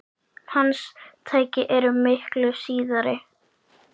Hans tæki eru miklu síðri.